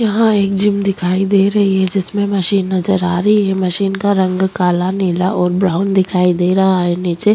यहाँ एक जिम दिखाई दे रही है जिसमे मशीन नजर आ रही है मशीन का रंग काला नीला और ब्राउन दिखाई दे रहा है नीचे --